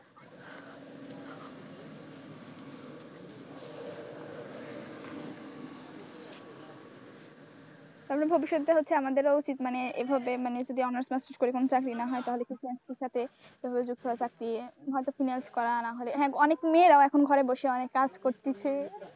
তারপরে ভবিষ্যতে হচ্ছে আমাদের উচিত এভাবে যদি honours masters করি যদি চাকরি না হয় তাহলে finance করা না হলে অনেক মেয়েরাও এখন ঘরে বসে কাজ করতেছে।